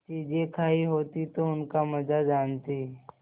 चीजें खायी होती तो उनका मजा जानतीं